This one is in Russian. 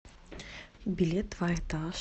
билет два этаж